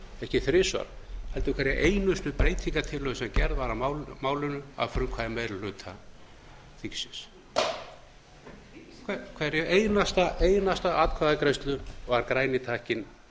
ekki þrisvar heldur hverja einustu breytingartillögu sem gerð var á málinu að frumkvæði meiri hluta þingsins við hverja einustu atkvæðagreiðslu var græni takkinn